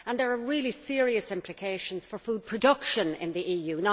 There are really serious implications for food production in the EU.